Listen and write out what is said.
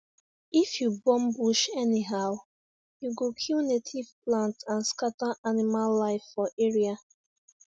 if you burn bush anyhow you go kill native plant and scatter animal life for area